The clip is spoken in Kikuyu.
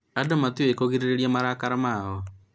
andũ matiũĩ kũgirĩrĩria marakara mao